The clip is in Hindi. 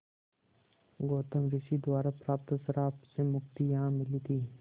गौतम ऋषि द्वारा प्राप्त श्राप से मुक्ति यहाँ मिली थी